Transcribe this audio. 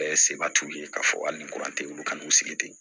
Bɛɛ seba t'u ye k'a fɔ hali ni kuran tɛ ulu kana n'u sigi ten